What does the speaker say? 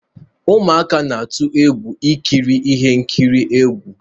Ụmụaka na-atụ egwu ikiri ihe nkiri egwu